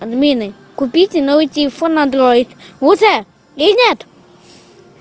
админы купите новый телефон на андроид вуза или нет